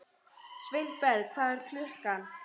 Sveinberg, hvað er klukkan?